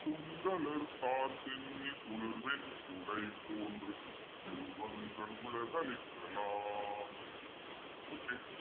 கொங்கலர்த்தார்ச் சென்னி குளிர்வெண் குடைபோன்றிவ் வங்கண் உலகுஅளித்த லான் okay